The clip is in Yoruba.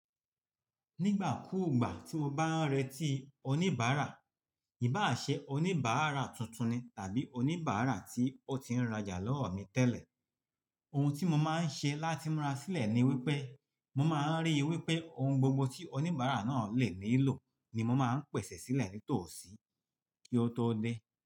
Nígbà kúùgbà tí mo bá ń retí oníbàárà, ìbá ṣẹ oníbàárà tuntun ni tàbí oníbàárà tí ó ti ń rajà lọ́wọ́ mi tẹ́lẹ̀, ohun tí mo máa ń ṣe láti múra sílẹ̀ ni wípé mo máa ń rí i wípé ohun gbogbo tí oníbàárà náà lè nílò ni mo máa ń pèsè sílẹ̀ nítòsí kí ó tó dé.